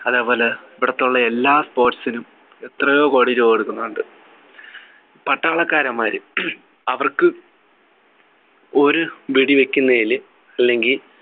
അതേപോലെ ഇവിടെത്തെ ഉള്ള എല്ലാ sports നും എത്രയോകോടി രൂപ കൊടുക്കുന്നുണ്ട് പട്ടാളക്കാരന്മാര് അവർക്ക് ഒരു വെടി വെക്കുന്നതില് അല്ലെങ്കി